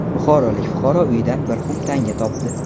Buxorolik fuqaro uyidan bir xum tanga topdi .